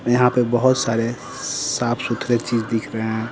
यहां पे बहुत सारे साफ सुथरे चीज दिख रहे हैं।